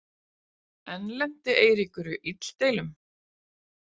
Enn lenti Eiríkur í illdeilum.